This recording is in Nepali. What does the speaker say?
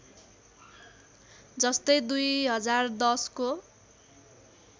जस्तै २०१० को